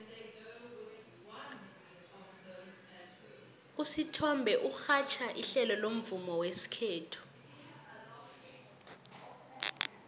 usithombe urhatjha ihlelo lomvumo wesikhethu